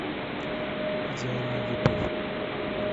идеальная любовь